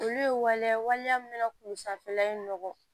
Olu ye waliya waliya min nana k'u sanfɛla nɔgɔ